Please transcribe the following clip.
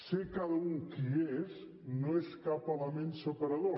ser cada u qui és no és cap element separador